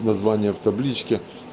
название в табличке